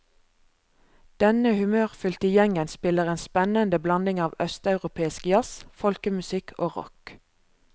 Denne humørfylte gjengen spiller en spennende blanding av østeuropeisk jazz, folkemusikk og rock.